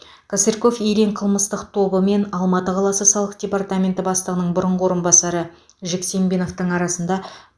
косырьков ильин қылмыстық тобы мен алматы қаласы салық департаменті бастығының бұрынғы орынбасары жексембиновтің арасында